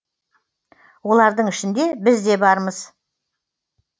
олардың ішінде біз де бармыз